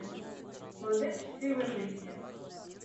модель счастливой жизни